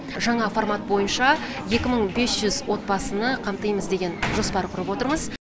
жаңа формат бойынша екі мың бес жүз отбасыны қамтимыз деген жоспар құрып отырмыз